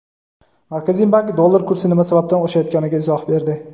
Markaziy bank dollar kursi nima sababdan oshayotganiga izoh berdi.